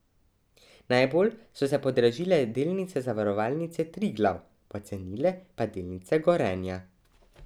Najbolj so se podražile delnice Zavarovalnice Triglav, pocenile pa delnice Gorenja.